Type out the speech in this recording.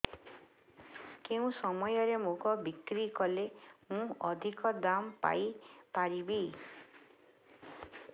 କେଉଁ ସମୟରେ ମୁଗ ବିକ୍ରି କଲେ ମୁଁ ଅଧିକ ଦାମ୍ ପାଇ ପାରିବି